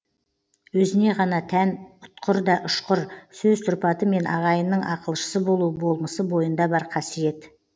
өзіне ғана тән ұтқыр да ұшқыр сөз тұрпаты мен ағайынның ақылшысы болу болмысы бойында бар қасиет